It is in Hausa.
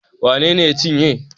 Wale ne ya cinye